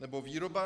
Nebo výroba?